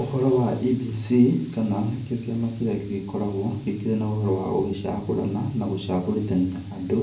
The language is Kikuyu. Ũhoro wa IEBC, kana nĩkĩo kĩama kĩrĩa gĩkoragũo, gĩkĩrĩ na ũhoro wa gũgĩcagũrana, na gũcagũrithania andũ,